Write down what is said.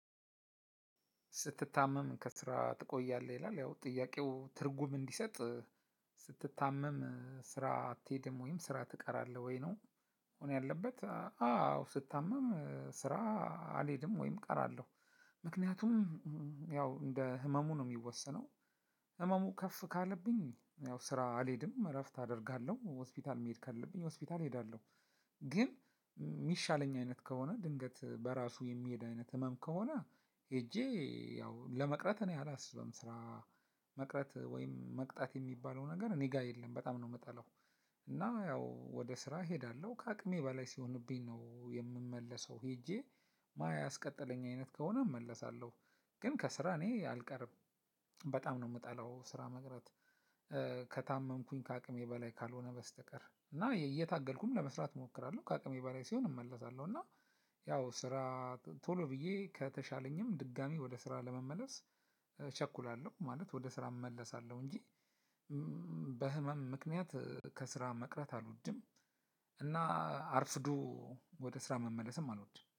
ስትታመም ከስራ ትቆያለህ ይላል ያው ጥያቄው ትርጉም እንዲሰጥ ስትታመም ስራ አትሄድም ወይም ስራ ትቀራለህ ወይ ነው? መሆን ያለበት አዎ ስታመም ስራ አልሄድም ወይም እቀራለሁ። ምክንያቱም ያው እንደ ህመሙ ነው የሚወሰነው። ህመሙ ከፍ ካለብኝ ያው ስራ አልሄድም እረፍት አደርጋለሁ ሆስፒታል መሄድ ካለብኝ ሆስፒታል እሄዳለሁ። ግን የሚሻለኝ አይነት ከሆነ ድንገት በራሱ የሚሄድ አይነት ህመም ከሆነ ሄጄ ያው ለመቅረት እኔ አላስብም። ስራ መቅረት ወይም መቅጣት የሚባለው ነገር እኔ ጋር የለም በጣም ነው የምጠላው። እና ያው ወደ ስራ እሄዳለሁ ከአቅሜ በላይ ሲሆንብኝ ነው የምመለሰው። ሄጄ ማያ አስቀጥለኝ አይነት ከሆነ እመለሳለሁ። ግን ከስራ እኔ አልቀርም። በጣም ነው የምጠላው ስራ መቅረት። ከታመምኩኝ ከአቅሜ በላይ ካልሆነ በስተቀር እና እየታገልኩም ለመስራት እሞክራለሁ ከአቅሜ በላይ ሲሆን እመለሳለሁ። እና ያው ስራ ቶሎ ብዬ ከተሻለኝም ድጋሚ ወደ ስራ ለመመለስ እቸኩላለሁ። ማለት ወደ ስራ እመለሳለሁ እንጂ። በህመም ምክንያት ከስራ መቅረት አልወድም። እና አርፍዶ ወደ ስራ መመለስም አልወድም